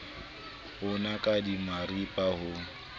bo naka di maripa ho